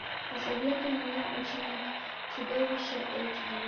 посоветуй мне ученик чудовища эйч ди